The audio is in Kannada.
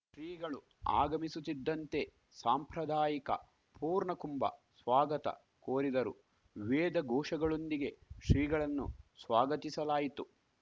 ಶ್ರೀಗಳು ಆಗಮಿಸುತ್ತಿದ್ದಂತೆ ಸಾಂಪ್ರದಾಯಿಕ ಪೂರ್ಣಕುಂಭ ಸ್ವಾಗತ ಕೋರಿದರು ವೇದಘೋಷಗಳೊಂದಿಗೆ ಶ್ರೀಗಳನ್ನು ಸ್ವಾಗತಿಸಲಾಯಿತು